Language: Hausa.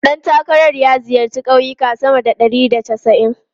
Ɗan takarar ya ziyarci kauyuka sama da ɗari da casa'in.